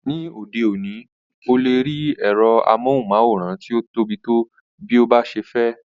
Ní òde òní,o lè rí ẹ̀rọ amóhùnmáwòrán tí o tóbi tó bí o bá ṣe fẹ́.